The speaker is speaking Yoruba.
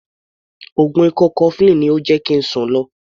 Oògùn ikọ́ cofflin ni ó jẹ́ kí ń sùn lo.